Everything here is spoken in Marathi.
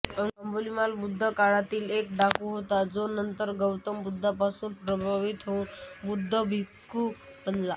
अंगुलिमाल बुद्ध काळातील एक डाकू होता जो नंतर गौतम बुद्धांपासून प्रभावित होऊन बौद्ध भिक्खू बनला